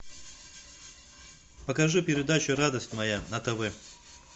покажи передачу радость моя на тв